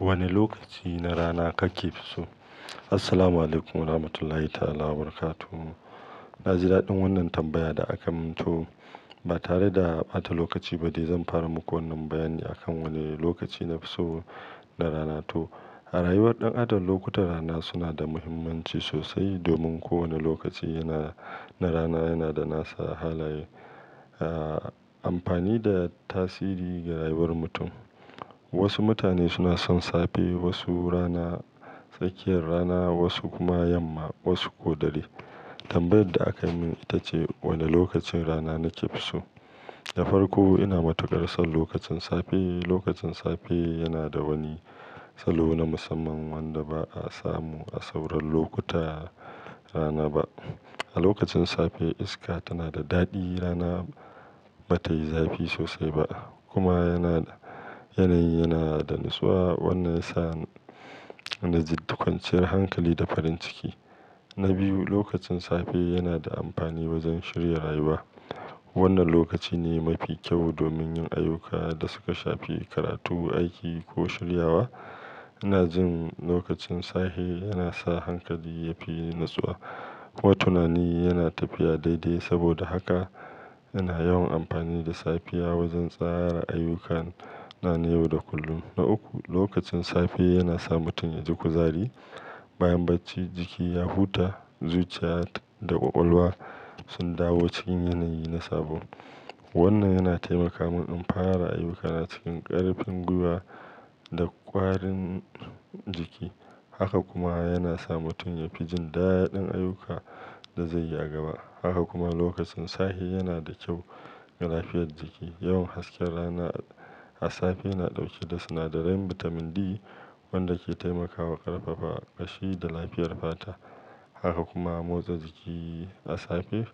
Wane lokaci na rana kake fi so? Assalamualaikum warahmatullahi ta'ala wabarakatuh. Na ji daɗin wannan tambaya da aka min to ba tare da ɓata lokaci ba dai zan fara muku wannan bayani akan wane lokaci nafi so na rana to. A rayuwar ɗan adam lokutan rana suna da mahimmanci sosai domin kowane lokaci yana na rana yana da nasa halaye, ah amfani da tasiri ga rayuwar mutum. Wasu mutane suna son safe, wasu rana, tsakiyar rana, wasu kuma yamma, wasu ko dare. Tambayar da aka min ita ce wane lokacin rana na ke fi so. Na farko ina matuƙar son lokacin safe. Lokacin safe yana da wani salo na musamman wanda ba a samu a sauran lokuta rana ba. A lokacin safe iska tana da daɗi, rana ba ta yi zafi sosai ba kuma yana yanayi yana da natsuwa. Wannan ya sa na ji duk kwanciyar hankali da farin ciki. Na biyu lokacin safe yana da amfani wajen shirya rayuwa. Wannan lokaci ne mafi kyau domin yin ayyukan da suka shafi karatu, aiki ko shiryawa. Ina jin lokacin safe yana sa hankali yafi natsuwa kuma tunani yana tafiya daidai. Saboda haka ina yawan amfani da safiya wajen tsara ayyukana na yau da kullum. Na uku lokacin safe yana sa mutum ya ji kuzari. Bayan bacci jiki ya huta, zuciya da ƙwaƙwalwa sun dawo cikin yanayi na sabo. Wannan yana taimaka mun in fara ayyuka na cikin ƙarfin gwiwa da ƙwarin jiki. Haka kuma yana sa mutum ya fi jin daɗin ayyuka da zai yi a gaba. Haka kuma lokacin safe yana da kyau ga lafiyar jiki. Yawan hasken rana a safe na ɗauke da sinadarai bitamin D wanda ke taimakawa ƙarfafa ƙashi da lafiyar fata. Haka kuma motsa jiki a safe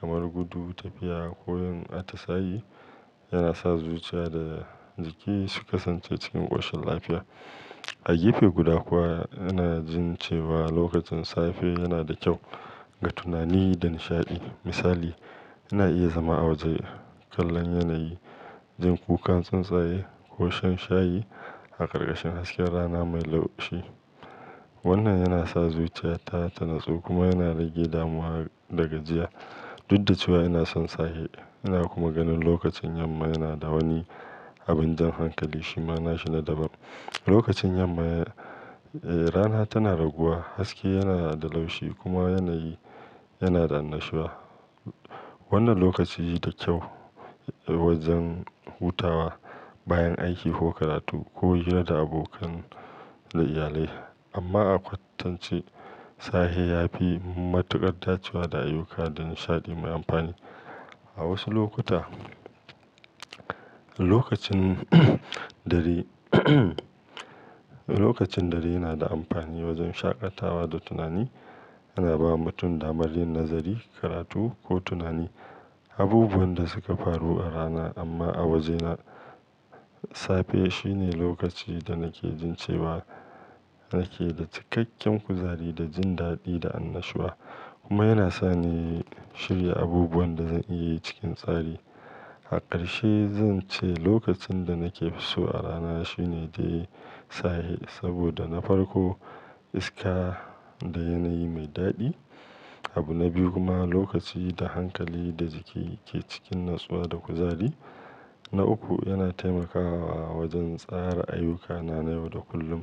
kamar gudu, tafiya ko yin atisayi yana sa zuciya da jiki su ƙasance cikin ƙoshin lafiya. A gefe guda kuwa ina jin cewa lokacin safe yana da kyau ga tunani da nishaɗi. Misali ina iya zama a waje kallon yanayi, jin kukan tsuntsaye ko shan shayi a ƙarƙashin hasken rana mai laushi. Wannan yana sa zuciyata ta natsu kuma yana rage damuwa da gajiya. Dud da cewa ina son sahe ina kuma ganin lokacin yamma yana da wani abin jan hankali. Shima nashi na daban. Lokacin yamma rana tana raguwa, haske yana da laushi kuma yanayi yana da annashuwa. Wannan lokaci da kyau wajen hutawa bayan aiki ko karatu ko hira da abokan da iyalai. Amma a kwatance sahe yafi matuƙar dacewa da ayyuka da nishaɗi mai amfani. A wasu lokuta lokacin dare lokacin dare yana da amfani wajen shaƙatawa da tunani. Yana ba mutum damar yin nazari, karatu ko tunani. Abubuwan da suka faru a rana. Amma a wajena safe shine lokaci da nake jin cewa nake da cikakken kuzari da jin daɗi da annashuwa kuma yana sa ni shirya abubuwan da zan iya yi cikin tsari. A ƙarshe zan ce lokacin da nake fi so a rana shine dai sahe. Saboda na farko iska da yanayi mai daɗi. Abu na biyu kuma lokaci da hankali da jiki ke cikin natsuwa da kuzari. Na uku yana taimakawa wajen tsara ayyukana na yau da kullum.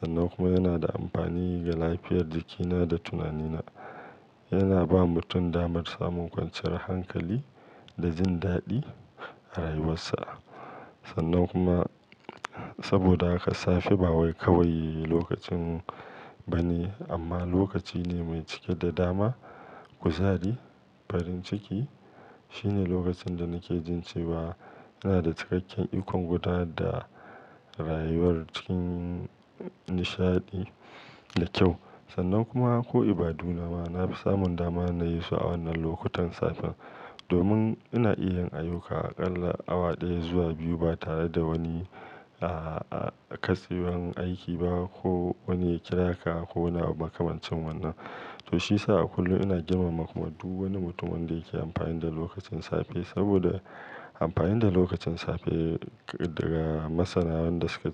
Sannan kuma yana da amfani ga lafiyar jikina da tunanina. Yana ba mutum damar samun ƙwanciyar hankali da jin daɗi a rayuwarsa. Sannan kuma saboda haka safe ba kawai lokacin ba ne amma lokaci ne mai cike da dama, kuzari, farin ciki. Shine lokacin da nake jin cewa ina da cikakken ikon gudanar da rayuwar cikin nishaɗi da kyau. Sannan kuma ko ibadu nama na fi samun dama na yi su a wannan lokutan safen. Domin ina iya yin ayyuka a ƙalla awa ɗaya zuwa biyu ba tare da wani a-a-katsewan aiki ba ko wani ya kira ka ko wani makamancin wannan. To shi ya sa a kullum ina girmama kuma duk wani mutum wanda yake amfani da lokacin safe saboda amfani da lokacin safe daga masana wanda suka ci.